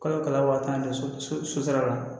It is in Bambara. Kalo kalo so so so so sira la